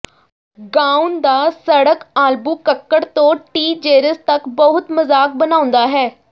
ਗਾਉਣ ਦਾ ਸੜਕ ਆਲਬੂਕਕਰ ਤੋਂ ਟਿਜੇਰਸ ਤੱਕ ਬਹੁਤ ਮਜ਼ਾਕ ਬਣਾਉਂਦਾ ਹੈ